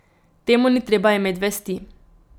Temu ni treba imet vesti.